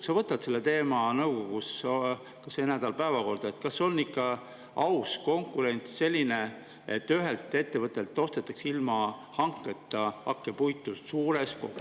Kas sa võtad selle teema nõukogus sel nädalal päevakorda, et kas see on ikka aus konkurents, kui ühelt ettevõttelt ostetakse ilma hanketa suures koguses hakkepuitu?